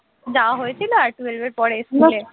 যাওয়া হয়েছিল আর twelve এর পরে স্কুলে